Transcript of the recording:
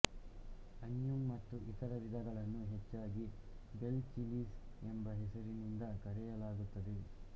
ಅನ್ಯುಮ್ ಮತ್ತು ಇತರ ವಿಧಗಳನ್ನು ಹೆಚ್ಚಾಗಿ ಬೆಲ್ ಚಿಲಿಸ್ ಎಂಬ ಹೆಸರಿನಿಂದ ಕರೆಯಲಾಗುತ್ತದೆ